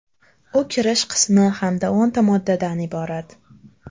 U kirish qismi hamda o‘nta moddadan iborat.